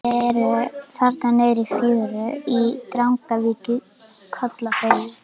Þau eru þarna niðri í fjöru í Drangavík í Kollafirði.